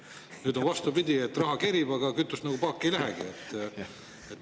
Nüüd on vastupidi, et raha kerib, aga kütust nagu paaki ei lähegi.